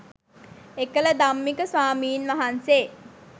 එකල ධම්මික ස්වාමින්වහන්සේ